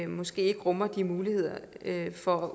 måske ikke rummer mulighed for